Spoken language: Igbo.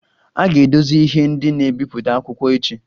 A ga-edozi ihe ndị na-ebipụta akwụkwọ echi